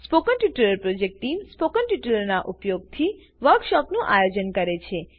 spoken tutorial project team spoken ટ્યુટોરીયલોનાં ઉપયોગથી વર્કશોપોનું આયોજન કરે છે